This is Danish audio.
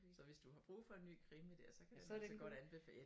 Så hvis du har brug for en ny krimi dér så kan den altså godt anbefales